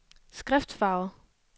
skriftfarve